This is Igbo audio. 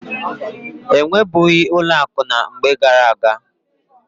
E nwebughị ụlọ akụ na mgbe gara-aga.